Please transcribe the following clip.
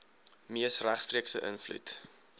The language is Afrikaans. mees regstreekse invloed